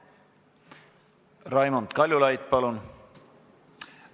Raimond Kaljulaid, palun!